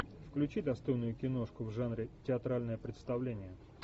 включи достойную киношку в жанре театральное представление